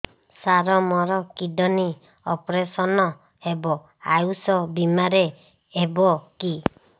ସାର ମୋର kidney operation ହେବ ଆୟୁଷ ବିମାରେ ହେବ କି